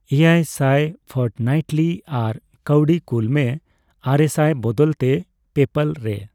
ᱮᱭᱟᱭ ᱥᱟᱭ ᱯᱷᱚᱨᱴᱱᱟᱭᱤᱴᱞᱤ ᱟᱨ ᱠᱟᱣᱰᱤ ᱠᱩᱞ ᱢᱮ, ᱟᱨᱮᱥᱟᱭ ᱵᱚᱫᱚᱞ ᱛᱮ, ᱯᱮᱯᱟᱞ ᱨᱮ ?